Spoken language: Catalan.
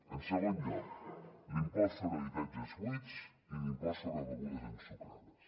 en segon lloc l’impost sobre habitatges buits i l’impost sobre begudes ensucrades